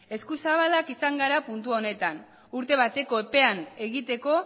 eskuzabalak izan gara puntu honetan urte bateko epean egiteko